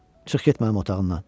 Çıx get mənim otağımdan.